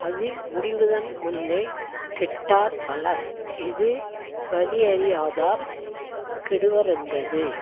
அது முடிவதன்முன்னே கெட்டார் பலர் இது வலியறியாதார் கெடுவரென்றது